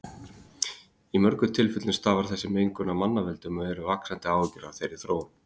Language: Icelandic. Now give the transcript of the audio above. Í mörgum tilfellum stafar þessi mengun af mannavöldum og eru vaxandi áhyggjur af þeirri þróun.